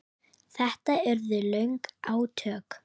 Þetta urðu löng átök.